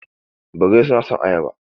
Birrai suna son ayaba